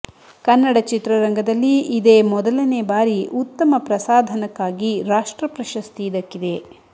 ಕನ್ನಡ ಚಿತ್ರರಂಗದಲ್ಲಿ ಇದೇ ಮೊದಲನೇ ಬಾರಿ ಉತ್ತಮ ಪ್ರಸಾಧನಕ್ಕಾಗಿ ರಾಷ್ಟ್ರ ಪ್ರಶಸ್ತಿ ದಕ್ಕಿದೆ